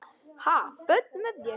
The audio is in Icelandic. Ha, börn með þér?